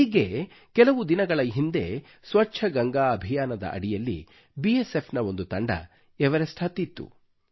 ಈಗ್ಗೆ ಕೆಲವು ದಿನಗಳ ಹಿಂದೆ ಸ್ವಚ್ಛ ಗಂಗಾ ಅಭಿಯಾನದ ಅಡಿಯಲ್ಲಿ ಬಿಎಸ್ ಎಫ್ ನ ಒಂದು ತಂಡವು ಎವರೆಸ್ಟ್ ಹತ್ತಿತ್ತು